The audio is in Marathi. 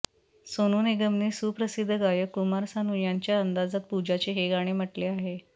सोनू निगमने सुप्रसिद्ध गायक कुमार सानू यांच्या अंदाजात पूजाचे हे गाणे म्हटले आहे